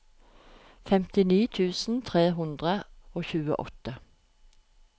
femtini tusen tre hundre og tjueåtte